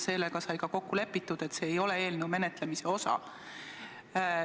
See sai ka kokku lepitud, et see arutelu ei ole eelnõu menetlemise osa.